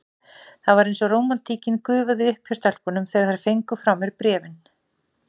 Það var eins og rómantíkin gufaði upp hjá stelpunum, þegar þær fengu frá mér bréfin.